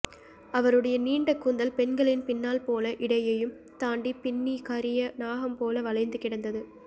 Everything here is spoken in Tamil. அவருடைய நீண்ட கூந்தல் பெண்களின் பின்னல் போல இடையையும் தாண்டி பின்னி கரிய நாகம்போல வளைந்து கிடந்தது